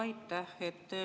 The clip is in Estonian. Aitäh!